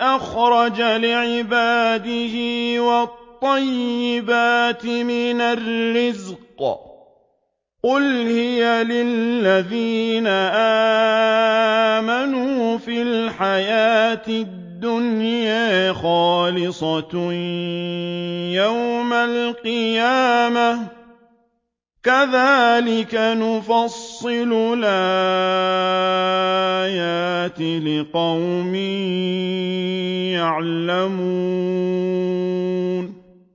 أَخْرَجَ لِعِبَادِهِ وَالطَّيِّبَاتِ مِنَ الرِّزْقِ ۚ قُلْ هِيَ لِلَّذِينَ آمَنُوا فِي الْحَيَاةِ الدُّنْيَا خَالِصَةً يَوْمَ الْقِيَامَةِ ۗ كَذَٰلِكَ نُفَصِّلُ الْآيَاتِ لِقَوْمٍ يَعْلَمُونَ